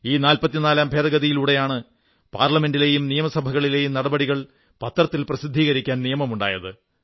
ഈ 44 ാം ഭേദഗതിയിലൂടെയാണ് പാർലമെന്റിലെയും നിയമസഭകളിലെയും നടപടികൾ പത്രങ്ങളിൽ പ്രസിദ്ധീകരിക്കാൻ നിയമമുണ്ടായത്